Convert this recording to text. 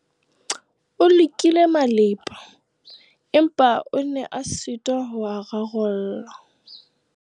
O lekile malepa, empa o ne a sitwa ho a rarolla.